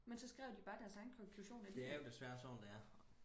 men så skrev de bare deres egen konklusion alligevel